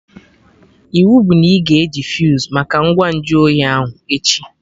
Iwu bụ na ị ga eji fuse make ngwa nju oyi ahụ, echi!